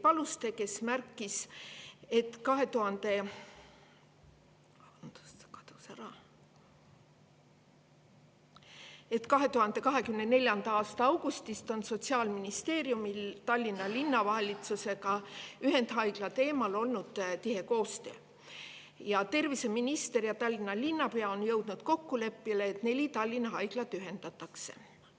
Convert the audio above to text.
Ta märkis, et 2024. aasta augustist on Sotsiaalministeeriumil olnud Tallinna Linnavalitsusega ühendhaigla teemal tihe koostöö ning terviseminister ja Tallinna linnapea on jõudnud kokkuleppele, et neli Tallinna haiglat ühendatakse.